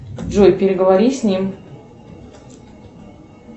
джой переговори с ним